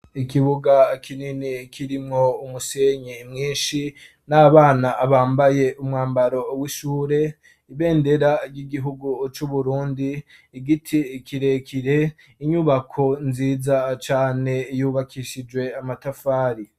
Ikibuga kinini kirimwo umusenye mwinshi, n'abana bambaye umwambaro w'ishure, ibendera ry'igihugu c'Uburundi, igiti kirekire, inyubako nziza cane yubakishijwe amatafari.